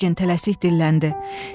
Yurgen tələsik dilləndi: